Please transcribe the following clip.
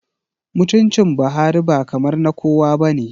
Mutuncin Buhari ba kamar na kowa ba ne